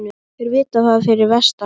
Þeir vita það fyrir vestan